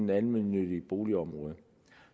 det almene boligområde